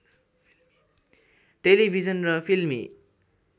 television र फिल्मी